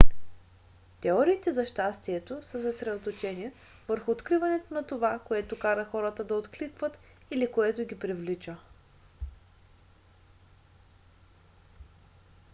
теориите за щастието са съсредоточени върху откриването на това което кара хората да откликват или което ги привлича